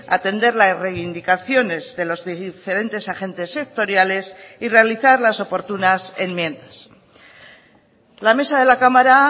atender la reivindicaciones de los diferentes agentes sectoriales y realizar las oportunas enmiendas la mesa de la cámara